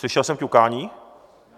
Slyšel jsem ťukání?